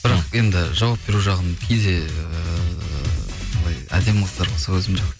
бірақ енді жауап беру жағын кейде ыыы былай әдемі қыздар болса өзім